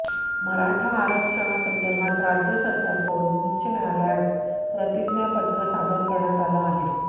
मराठा आरक्षणा संदर्भात राज्य सरकारकडून उच्च न्यायालयात प्रतिज्ञापत्र सादर करण्यात आलं आहे